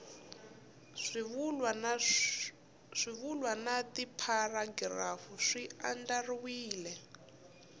swivulwa na tipharagirafu swi andlariwile